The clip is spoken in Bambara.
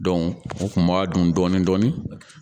o kun b'a dun dɔɔni dɔɔni